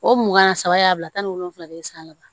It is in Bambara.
O mugan saba y'a bila tan ni wolonwula de ye san laban